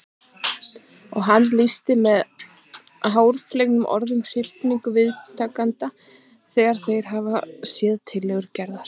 Og hann lýsir með háfleygum orðum hrifningu viðtakenda þegar þeir hafa séð tillögur Gerðar.